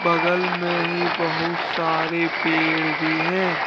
बगल में ही बहुत सारे पेड़ भी हैं।